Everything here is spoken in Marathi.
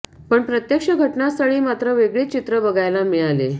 पण प्रत्यक्ष घटनास्थळी मात्र वेगळेच चित्र बघायला मिळाले